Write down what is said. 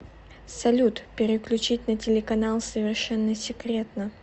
салют переключить на телеканал совершенно секретно